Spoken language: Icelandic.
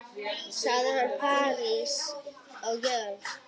Segir hana paradís á jörð.